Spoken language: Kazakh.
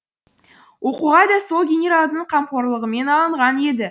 оқуға да сол генералдың қамқорлығымен алынған еді